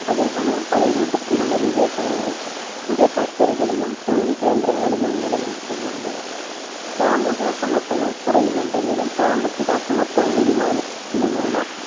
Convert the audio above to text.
അതേ സമയം പല രൂപത്തിലുള്ള വിവേചനങ്ങൾ പുതിയ factory കളിലും തൊഴിൽ കേന്ദ്രങ്ങളിലും നിലനിൽക്കുന്നുണ്ട് സാമൂഹ്യ അസമത്വങ്ങൾ കുറയുന്നുണ്ടെങ്കിലും സാമ്പത്തിക അസമത്വം വരുമാനത്തിലുമുള്ള